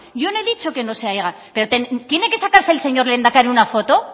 yo no he dicho que no se haga pero tiene que sacarse el señor lehendakari una foto